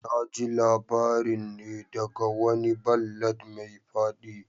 Na ji labarin ne daga wani ballad mai fadi